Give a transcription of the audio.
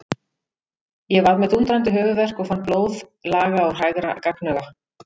Ég var með dúndrandi höfuðverk og fann blóð laga úr hægra gagnauga.